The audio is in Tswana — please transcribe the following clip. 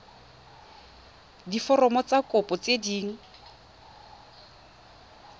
diforomo tsa kopo tse dint